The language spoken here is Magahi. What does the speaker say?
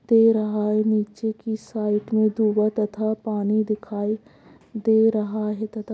दे रहा है नीचे की साइड में तथा पानी दिखाई दे रहा है तथा --